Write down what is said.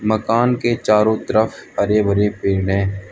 मकान के चारो तरफ हरे भरे पेड़ हैं।